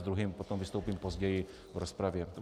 S druhým potom vystoupím později v rozpravě.